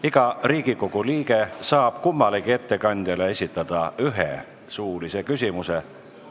Iga Riigikogu liige saab kummalegi ettekandjale esitada ühe suulise küsimuse.